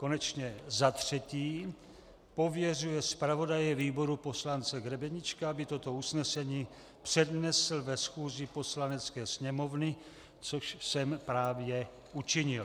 Konečně za třetí, pověřuje zpravodaje výboru poslance Grebeníčka, aby toto usnesení přednesl na schůzi Poslanecké sněmovny, což jsem právě učinil.